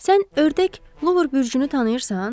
Sən ördək, luvur bürcünü tanıyırsan?